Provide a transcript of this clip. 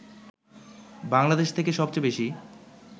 বাংলাদেশ থেকে সবচেয়ে বেশি